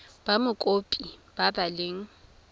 ba mokopi ba ba leng